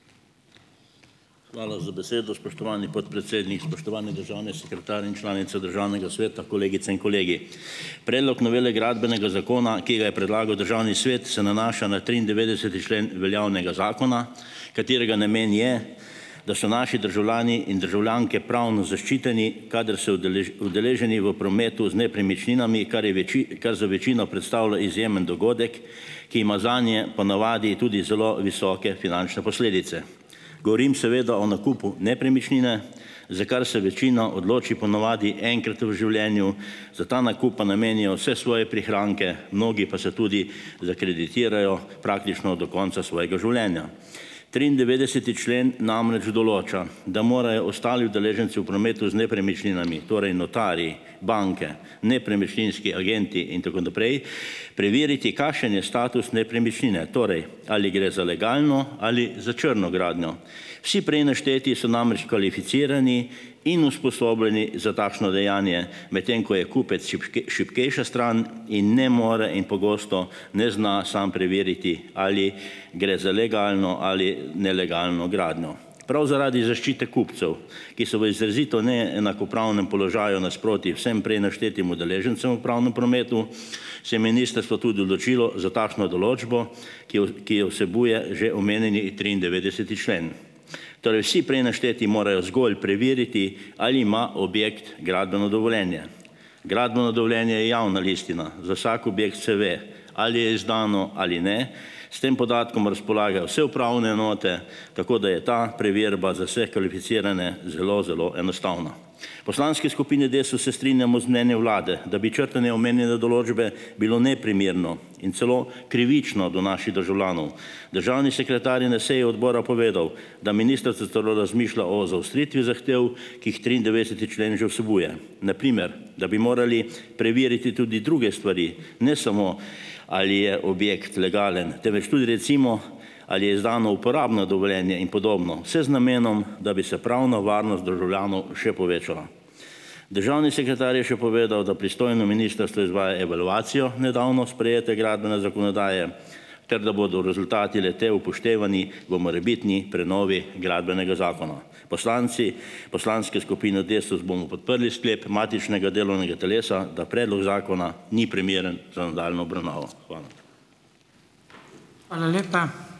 Hvala za besedo, spoštovani podpredsednik, spoštovani državni sekretar in članice Državnega sveta, kolegice in kolegi! Predlog novele Gradbenega zakona, ki ga je predlagal Državni svet, se nanaša na triindevetdeseti člen veljavnega zakona, katerega namen je, da so naši državljani in državljanke pravno zaščiteni, kadar so udeleženi v prometu z nepremičninami, kar je več, kar za večino predstavlja izjemen dogodek, ki ima zanje, ponavadi, tudi zelo visoke finančne posledice. Govorim seveda o nakupu nepremičnine, za kar se večina odloči, po navadi, enkrat v življenju, za ta nakup pa namenijo vse svoje prihranke, mnogi pa se tudi zakreditirajo praktično do konca svojega življenja. Triindevetdeseti člen namreč določa, da morajo ostali udeleženci v prometu z nepremičninami, torej notarji, banke, nepremičninski agenti in tako naprej, preveriti, kakšen je status nepremičnine. Torej, ali gre za legalno ali za črno gradnjo. Vsi prej našteti so namreč kvalificirani in usposobljeni za takšno dejanje, medtem ko je kupec šibkejša stran in ne more in pogosto ne zna sam preveriti, ali gre za legalno ali nelegalno gradnjo. Prav zaradi zaščite kupcev, ki so v izrazito neenakopravnem položaju nasproti vsem prej naštetim udeležencem v pravnem prometu, se je ministrstvo tudi odločilo za takšno določbo, ki je, ki je vsebuje že omenjeni triindevetdeseti člen. Torej, vsi prej našteti morajo zgolj preveriti, ali ima objekt gradbeno dovoljenje. Gradbeno dovoljenje je javna listina, za vsak objekt se ve, ali je izdano ali ne. S tem podatkom razpolagajo vse upravne enote, tako da je ta preverba za vse kvalificirane zelo, zelo enostavna. V poslanski skupini Desus se strinjamo z mnenjem vlade, da bi črtanje omenjene določbe bilo neprimerno in celo krivično do naših državljanov. Državni sekretar je na seji odbora povedal, da ministrstvo celo razmišlja o zaostritvi zahtev, ki jih triindevetdeseti člen že vsebuje. Na primer, da bi morali preveriti tudi druge stvari, ne samo ali je objekt legalen, temveč tudi recimo, ali je izdano uporabno dovoljenje in podobno, vse z namenom, da bi se pravna varnost državljanov še povečala. Državni sekretar je še povedal, da pristojno ministrstvo izvaja evalvacijo nedavno sprejete gradbene zakonodaje ter da bodo rezultati le-te upoštevani v morebitni prenovi Gradbenega zakona. Poslanci poslanske skupine Desus bomo podprli sklep matičnega delovnega telesa, da predlog zakona ni primeren za nadaljnjo obravnavo. Hvala.